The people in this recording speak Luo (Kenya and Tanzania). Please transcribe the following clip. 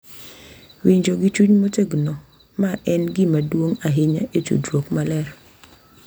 Winjo gi chuny motegno, ma en gima duong’ ahinya e tudruok maler,